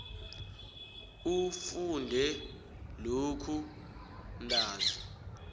ufunde lokhu ntanzi